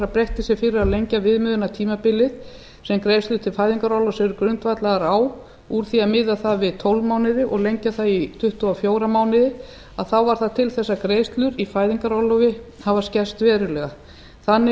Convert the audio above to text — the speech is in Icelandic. beitti sér fyrir að lengja viðmiðunartímabilið sem greiðslur til fæðingarorlofs eru grundvallaðar á úr því að miða það við tólf mánuði og lengja það í tuttugu og fjóra mánuði þá varð það til þess að greiðslur í fæðingarorlofi hafa skerst verulega þannig er